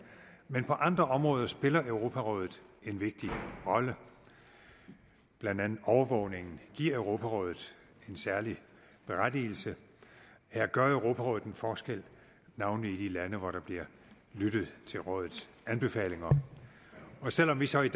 men på andre områder spiller europarådet en vigtig rolle blandt andet overvågningen giver europarådet en særlig berettigelse her gør europarådet en forskel navnlig i de lande hvor der bliver lyttet til rådets anbefalinger og selv om vi så i